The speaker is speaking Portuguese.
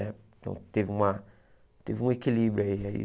Né então, teve uma teve um equilíbrio aí aí.